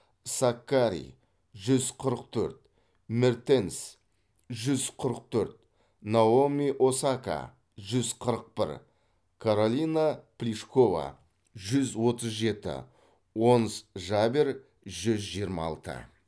саккари жүз қырық төрт мертенс жүз қырық төрт наоми осака жүз қырық бір каролина плишкова жүз отыз жеті онс жабер жүз жиырма алты